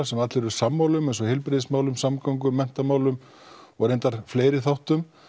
sem allir eru sammála um eins og heilbrigðismálum samgöngumálum og menntamálum og reyndar fleiri þáttum